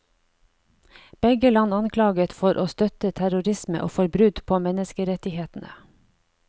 Begge land anklaget for å støtte terrorisme og for brudd på menneskerettighetene.